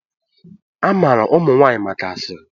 A maara ụmụ nwanyị maka asịrị.